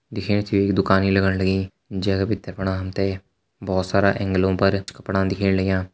दिखेण से ये एक दुकानि लगण लगीं जै का भितर फणा हम ते बहोत सारा एंगलों पर कपड़ा दिखेण लग्यां।